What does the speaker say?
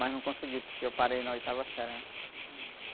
Mas não consegui, porque eu parei na oitava série, né?